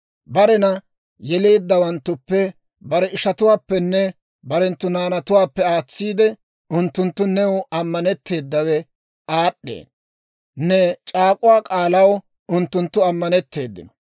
Barena yeleeddawanttuppe, bare ishatuwaappenne barenttu naanatuwaappe aatsiide, unttunttu new ammanetteedawe aad'd'ee; ne c'aak'uwaa k'aalaw unttunttu ammanetteedino.